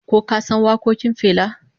Ko ka san wakokin Fela?